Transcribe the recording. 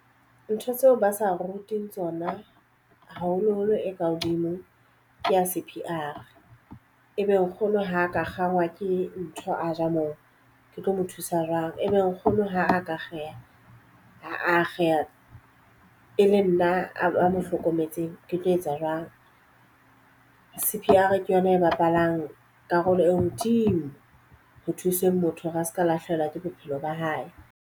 Ntho tseo ba sa rutehang tsona haholoholo e ka hodimo, ke ya C_P_R. E be nkgono ha ka kgangwa ke ntho a ja moo ke tlo mo thusa jwang. E be nkgono ha a ka akgeha a akgeha e le nna a mo hlokometseng ke tlo etsa jwang. C_P_R ke yona e bapalang karolo e hodimo ho thuseng motho hore a seka lahlehelwa ke bophelo ba hae.